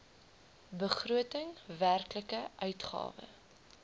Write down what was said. begroting werklike uitgawe